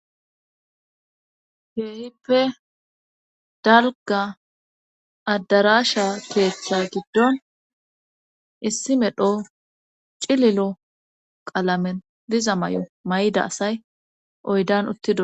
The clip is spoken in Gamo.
Keehippe dalga addarasha keeththa giddon issi medho cililo qalamen diza may7o may7ida asay oydan uttido